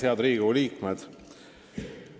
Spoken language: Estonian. Head Riigikogu liikmed!